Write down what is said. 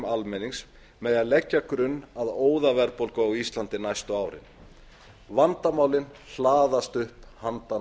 almennings með því að leggja grun að óðaverðbólgu á íslandi á næstu árin vandamálin hlaðast upp handan